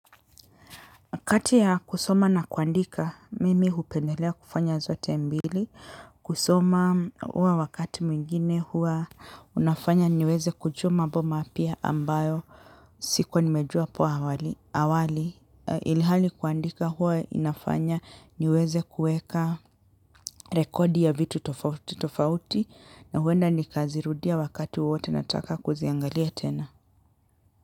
Kati ya kusoma na kuandika mimi hupendelea kufanya zote mbili kusoma huwa wakati mwingine huwa unafanya niweze kujua mambo mapya ambayo sikuwa nimejua hapo awali ilhali kuandika huwa inafanya niweze kuqeka rekodi ya vitu tofauti na huenda nikazirudia wakati wowote nataka kuziangalia tena.